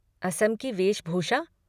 असम की वेशभूषा?